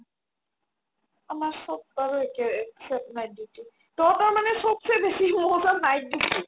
আমাৰ চ'ব বাৰু একে except night duty তহতৰ মানে চ'বচে মজা night duty